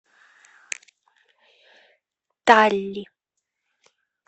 талли